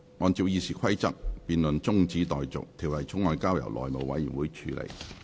按照《議事規則》，辯論中止待續，條例草案交由內務委員會處理。